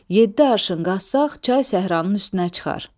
Yeddi arşın qazsaq, çay səhranın üstünə çıxar.